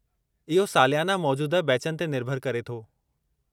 इहो सालियाना मौजूदह बैचनि ते निर्भरु करे थो।